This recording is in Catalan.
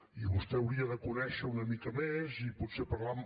i vostè hauria de conèixer una mica més i potser parlar amb